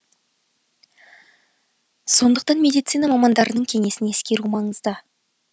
сондықтан медицина мамандарының кеңесін ескеру маңызды